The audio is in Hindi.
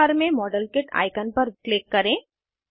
टूल बार में मॉडेलकिट आइकन पर क्लिक करें